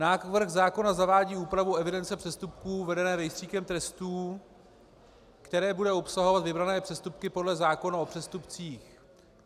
Návrh zákona zavádí úpravu evidence přestupků vedené Rejstříkem trestů, která bude obsahovat vybrané přestupky podle zákona o přestupcích.